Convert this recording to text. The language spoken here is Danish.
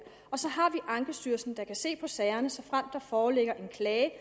og så har vi ankestyrelsen der kan se på sagerne såfremt der foreligger en klage